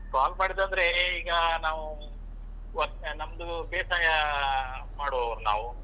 Call ಮಾಡಿದಂದ್ರೆ ಈಗ ನಾವು work ನಮ್ದು ಬೇಸಾಯಾ ಮಾಡುವವರ್ ನಾವು.